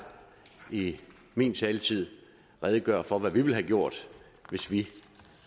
i min taletid redegøre for hvad vi ville have gjort hvis vi